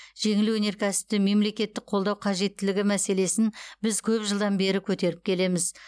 жеңіл өнеркәсіпті мемлекеттік қолдау қажеттілігі мәселесін біз көп жылдан бері көтеріп келеміз